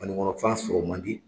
Banikɔnɔ fan sɔrɔ man di